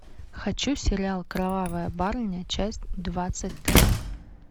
хочу сериал кровавая барыня часть двадцать три